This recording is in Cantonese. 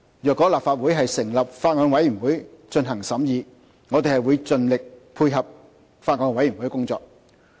如果立法會成立法案委員會進行審議，我們會盡力配合法案委員會的工作。